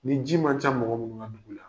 Ni ji man can mɔgɔ munnu ŋa dugu la